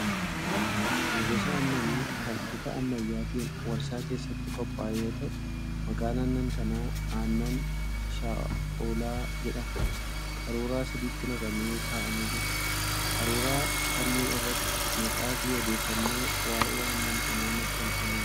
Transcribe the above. Kun gosa aannanii kan bifa ammayyaatiin warshaa keessatti qophaa'e yoo ta'u, maqaan aannan kanaa Aannan Shaa'olaa jedhama. Qaruuraa sadiitti naqamee kaa'amee jira. Qaruuraa kanneen irratti maqaafi odeeffannoon waa'ee aannan kanaa maxxanfamee jira.